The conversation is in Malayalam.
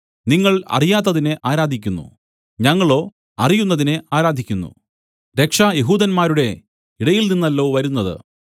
നിങ്ങൾ അറിയാത്തതിനെ ആരാധിക്കുന്നു ഞങ്ങളോ അറിയുന്നതിനെ ആരാധിക്കുന്നു രക്ഷ യെഹൂദന്മാരുടെ ഇടയിൽ നിന്നല്ലോ വരുന്നത്